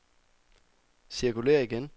cirkulér igen